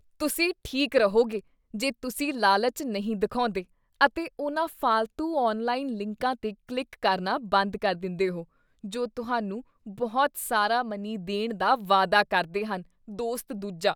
ਤੁਸੀਂ ਠੀਕ ਰਹੋਗੇ ਜੇ ਤੁਸੀਂ ਲਾਲਚ ਨਹੀਂ ਦਿਖਾਉਂਦੇ ਅਤੇ ਉਹਨਾਂ ਫਾਲਤੂ ਔਨਲਾਈਨ ਲਿੰਕਾਂ 'ਤੇ ਕਲਿੱਕ ਕਰਨਾ ਬੰਦ ਕਰ ਦਿੰਦੇਹੋ ਜੋ ਤੁਹਾਨੂੰ ਬਹੁਤ ਸਾਰਾ ਮਨੀ ਦੇਣ ਦਾ ਵਾਅਦਾ ਕਰਦੇ ਹਨ ਦੋਸਤ ਦੂਜਾ